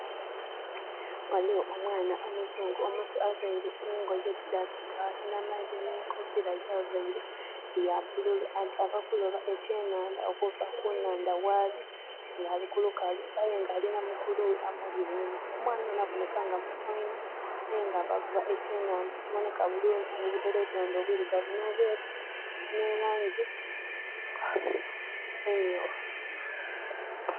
Waliwo omwana omuzungu omuto avaire engoye oti dha kinamagye n'enkofiira gyavaire ya bbululu. Ava kuloba ekyenandha okuva kunandha waali, nga ali kulukalu. Aye nga alina mukulu we amuli enhuma. Omwana ono aboneka nga muto inho. Aye nga ava vuba ekyenandha ekiboneka bulungi n'obudolodondo obwirugavu n'obweeru, n'elaangi emyuufu.